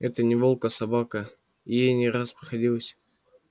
это не волк а собака и ей не раз приходилось